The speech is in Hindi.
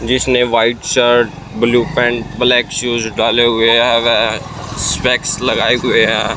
जिसने white shirt blue pant black shoes डाले हुए हैं स्पेक्स लगाए हुए हैं।